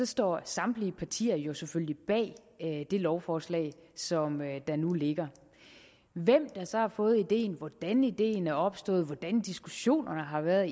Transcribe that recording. står samtlige partier jo selvfølgelig bag det lovforslag som der nu ligger hvem der så har fået ideen hvordan ideen er opstået hvordan diskussionerne har været